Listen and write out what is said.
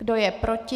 Kdo je proti?